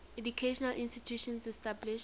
educational institutions established